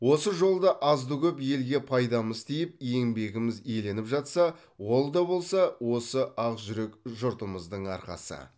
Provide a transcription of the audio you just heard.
осы жолда азды көп елге пайдамыз тиіп еңбегіміз еленіп жатса ол да болса осы ақжүрек жұртымыздың арқасы